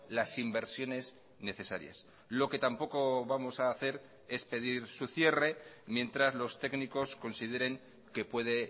las inversiones necesarias lo que tampoco vamos a hacer es pedir su cierre mientras los técnicos consideren que puede